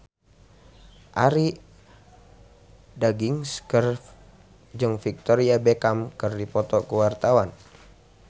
Arie Daginks jeung Victoria Beckham keur dipoto ku wartawan